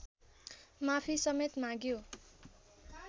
माफी समेत माग्यो